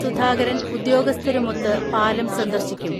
സുധാകരൻ ഉദ്യോഗസ്ഥരുമൊത്ത് പാലം സന്ദർശിക്കും.